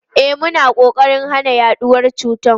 E, muna kokarin hana yaduwar cutar.